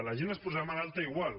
la gent es posarà malalta igual